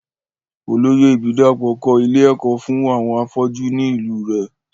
Olóyè ìbídàpọ̀ kọ́ ilé ẹ̀kọ́ fún àwọn afọ́jú ni ìlú u rẹ̀